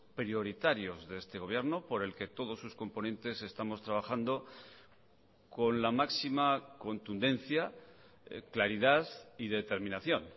prioritarios de este gobierno por el que todos sus componentes estamos trabajando con la máxima contundencia claridad y determinación